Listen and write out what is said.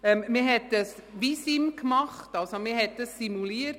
Man hat eine visuelle Simulation (Vissim) gemacht.